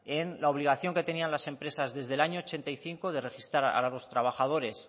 en la obligación que tenían las empresas desde el año ochenta y cinco de registrar a los trabajadores